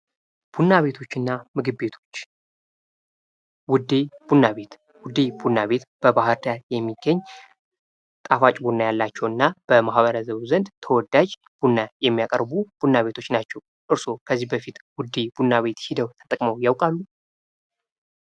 ቡና ቤቶችና ምግብ ቤቶች ፦ ውዴ ቡና ቤት ፦ ውዴ ቡና ቤት በባህር ዳር የሚገኝ ጣፋጭ ቡና ያላቸውና በማህበረሰቡ ዘንድ ተወዳጅ ቡና የሚያቀርቡ ቡና ቤቶች ናቸው ። እርስዎ ከዚህ በፊት ውዴ ቡና ሂደው ተጠቅመው ያውቃሉ ?